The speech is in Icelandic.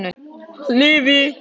Hann lifi!